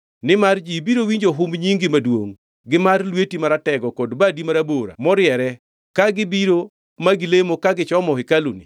nimar ji biro winjo humb nyingi maduongʼ gi mar lweti maratego kod badi marabora moriere, ka gibiro ma gilemo ka gichomo hekaluni